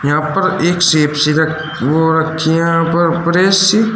और यहां पर एक हो रखी प्रेस सी।